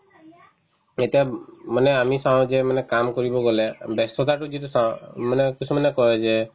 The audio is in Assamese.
এতিয়া উব মানে আমি চাও যে মানে কাম কৰিব গ'লে ব্যস্ততাটো যিটো চাও মানে কিছুমানে কই যে